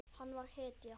Hann var hetja.